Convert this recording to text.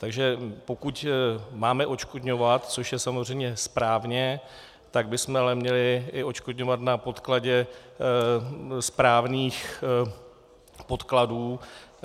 Takže pokud máme odškodňovat, což je samozřejmě správně, tak bychom ale měli i odškodňovat na podkladě správných podkladů.